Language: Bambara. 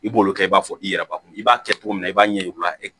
I b'olu kɛ i b'a fɔ i yɛrɛ bakɔnɔ i b'a kɛ cogo min na i b'a ɲɛ yir'u la